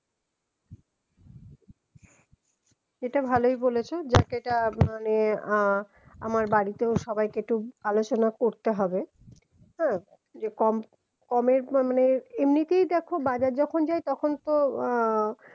এটা ভালোই বলেছো যাক এটা মানে আহ আমার বাড়িতে সবাইকে একটু আলোচনা করতে হবে হম যে কম কমের মানে এমনিতে দেখো বাইরে যখন যাই তখন তো আহ